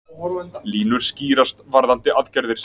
Línur skýrast varðandi aðgerðir